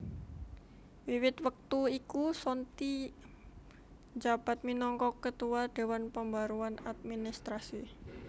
Wiwit wektu iku Sonthi njabat minangka Ketua Dewan Pembaruan Administrasi